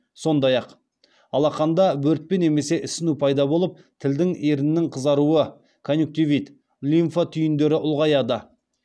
сондай ақ алақанда бөртпе немесе ісіну пайда болып тілдің еріннің қызаруы конъюнктивит лимфа түйіндері ұлғаяды